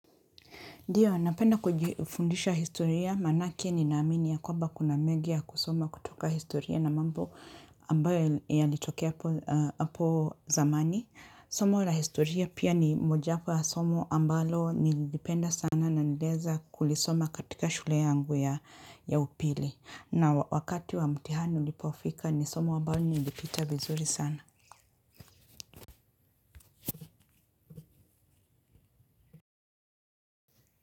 Ndiyo, napenda kujifundisha historia, manake ninaamini ya kwamba kuna mengi ya kusoma kutoka historia na mambo ambayo yalitokea hapo zamani. Somo la historia pia ni mojawapo ya somo ambalo nililipenda sana na nilieza kulisoma katika shule yangu ya upili na wakati wa mtihani ulipofika ni somo ambalo nilipita vizuri sana.